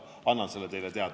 Henn Põlluaas.